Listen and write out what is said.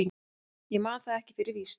Ég man það ekki fyrir víst.